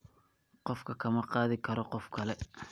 Qofku kama qaadi karo qof kale.